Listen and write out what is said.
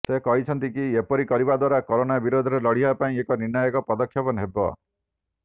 ସେ କହିଛନ୍ତି କି ଏପରି କରିବା ଦ୍ୱାରା କୋରୋନା ବିରୋଧରେ ଲଢିବା ପାଇଁ ଏକ ନିର୍ଣ୍ଣାୟକ ପଦକ୍ଷେପ ହେବ